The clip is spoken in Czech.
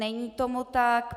Není tomu tak.